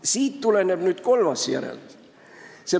Sellest tuleneb kolmas järeldus.